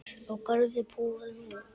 Á Garði búa nú